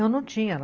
Eu não tinha.